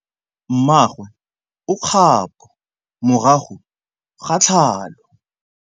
Mmagwe o kgapô morago ga tlhalô.